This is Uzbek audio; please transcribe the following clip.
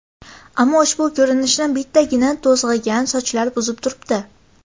Ammo ushbu ko‘rinishni bittagina to‘zg‘igan sochlar buzib turibdi.